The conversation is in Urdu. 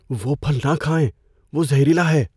وہ پھل نہ کھائیں۔ وہ زہریلا ہے۔